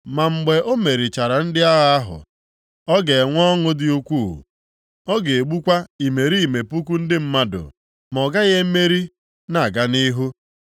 Ma mgbe o merichara ndị agha ahụ, ọ ga-enwe ọṅụ dị ukwu, ọ ga-egbukwa imerime puku ndị mmadụ, ma ọ gaghị emeri na-aga nʼihu.